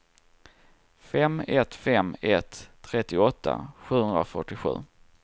fem ett fem ett trettioåtta sjuhundrafyrtiosju